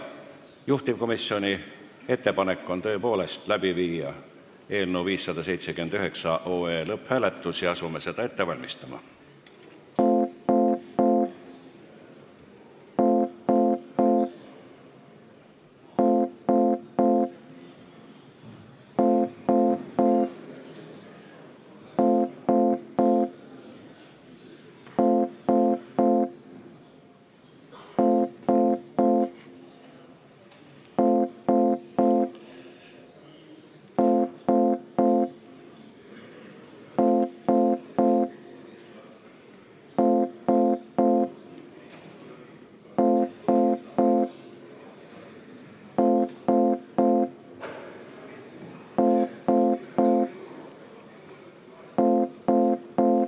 Juhtivkomisjoni ettepanek on tõepoolest viia läbi eelnõu 579 lõpphääletus ja asume seda ette valmistama.